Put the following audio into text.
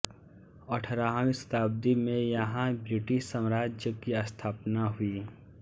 अठारहवीं शताब्दी में यहाँ ब्रिटिश साम्राज्य की स्थापना हुई